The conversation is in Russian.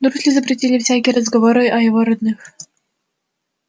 дурсли запретили всякие разговоры о его родных